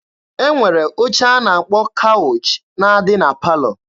E nwere oche a na-akpọ kawụch na-adị na palọ.